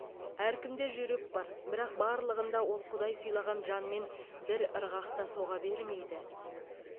әркімде жүрек бар бірақ барлығында ол құдай сыйлаған жанмен бір ырғақта соға бермейді